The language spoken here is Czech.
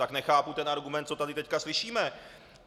Tak nechápu ten argument, co tady teď slyšíme.